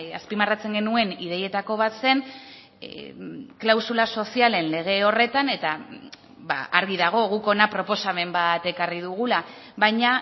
azpimarratzen genuen ideietako bat zen klausula sozialen lege horretan eta argi dago guk hona proposamen bat ekarri dugula baina